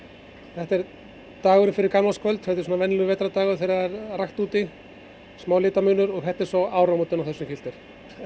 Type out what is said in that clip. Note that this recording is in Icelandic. þetta er dagurinn fyrir gamlárskvöld þetta er svona venjulegur vetrardagur þegar það rakt úti smá litamunur og þetta eru svo áramótin á þessum filter